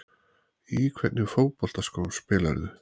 Í hvernig fótboltaskóm spilarðu?